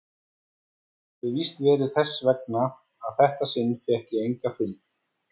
Það hefir víst verið þess vegna að þetta sinn fékk ég enga fylgd.